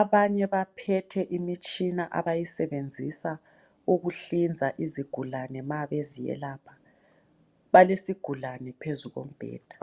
abanye baphethe imitshina abayisebenzisa ukuhlinza izigulane mabeziyelapha balesigulane phezu kombheda.